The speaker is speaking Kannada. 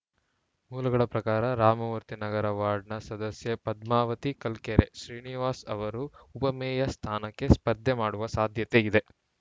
ಮೂಲಗಳ ಪ್ರಕಾರ ರಾಮಮೂರ್ತಿನಗರ ವಾರ್ಡ್‌ನ ಸದಸ್ಯೆ ಪದ್ಮಾವತಿ ಕಲ್ಕೆರೆ ಶ್ರೀನಿವಾಸ್‌ ಅವರು ಉಪಮೇಯರ್‌ ಸ್ಥಾನಕ್ಕೆ ಸ್ಪರ್ಧೆ ಮಾಡುವ ಸಾಧ್ಯತೆ ಇದೆ